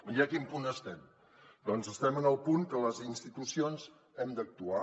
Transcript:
i a quin punt estem doncs estem en el punt que les institucions hem d’actuar